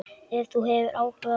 Ef þú hefur áhuga.